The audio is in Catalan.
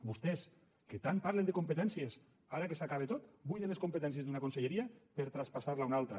vostès que tant parlen de competències ara que s’acaba tot buiden les competències d’una conselleria per traspassar les a una altra